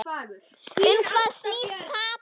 Um hvað snýst tapið?